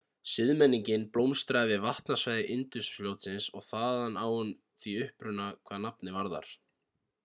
siðmenningin blómstraði við vatnasvæði indusfljótsins og þaðan á hún því uppruna hvað nafnið varðar